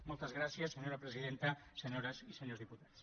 moltes gràcies senyora presidenta senyores i senyors diputats